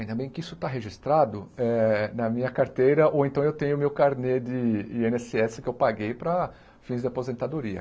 Ainda bem que isso está registrado eh na minha carteira, ou então eu tenho meu carnê de í êne ésse ésse que eu paguei para fins de aposentadoria.